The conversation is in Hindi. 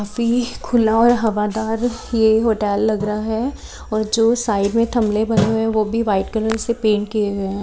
काफी खुला और हवादार ये होटल लग रहा है और जो साइड में थमले बने हुए वो भी व्हाइट कलर से पेंट किए हुए हैं।